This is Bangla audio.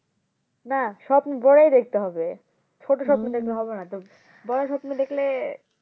না স্বপ্ন বড়োই দেখতে হবে ছোট স্বপ্ন দেখলে হবে না বড়ো স্বপ্ন দেখলে